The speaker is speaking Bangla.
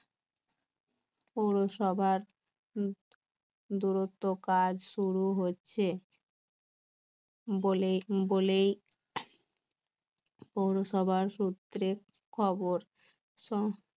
পৌরসভার দূরত্ব কাজ শুরু হচ্ছে বলেই সবার সূত্রে খবর